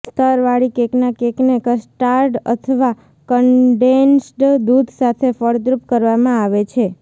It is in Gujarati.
સ્તરવાળી કેકના કેકને કસ્ટાર્ડ અથવા કન્ડેન્સ્ડ દૂધ સાથે ફળદ્રુપ કરવામાં આવે છે